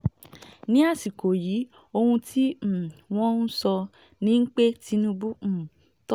ní àsìkò yìí ohun tí um wọ́n ń sọ ni pé tinubu um tó sára